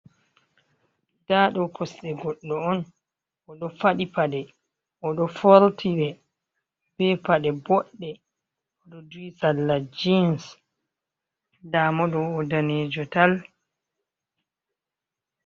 Nda ɗo kosɗe godɗo on, oɗo faɗi paɗe, oɗo forti ɗe be paɗe boɗɗe, oɗo duhi salla jins ndamo ɗo o danejo tal.